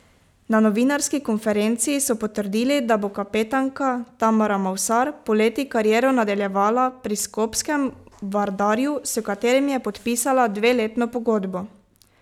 Na novinarski konferenci so potrdili, da bo kapetanka Tamara Mavsar poleti kariero nadaljevala pri skopskem Vardarju, s katerim je podpisala dveletno pogodbo.